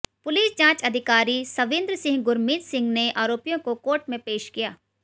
police जांच अधिकारी सविंद्र सिंह गुरमीत सिंह ने आरोपियों को कोर्ट में पेश किया